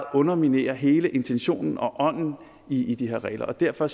underminere hele intentionen og ånden i de her regler og derfor